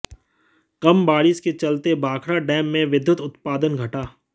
कम बारिश के चलते भाखड़ा डैम में विद्युत उत्पादन घटा